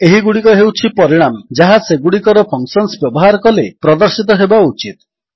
ଏହିଗୁଡ଼ିକ ହେଉଛି ପରିଣାମ ଯାହା ସେଗୁଡ଼ିକର ଫଙ୍କସନ୍ସ ବ୍ୟବହାର କଲେ ପ୍ରଦର୍ଶିତ ହେବା ଉଚିତ